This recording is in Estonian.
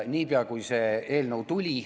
Seda seni, kuni see eelnõu tuli.